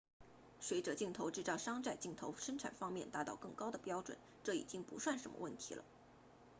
随着镜头制造商在镜头生产方面达到更高的标准这已经不算什么问题了